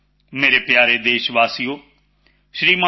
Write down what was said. ਮੇਰੇ ਪਿਆਰੇ ਦੇਸ਼ਵਾਸੀਓ ਸ਼੍ਰੀਮਾਨ ਟੀ